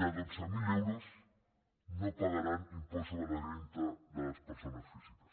de dotze mil euros no pagaran impost sobre la renda de les persones físiques